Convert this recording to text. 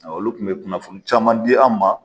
Ɔ olu kun bɛ kunnafoni caman di an ma.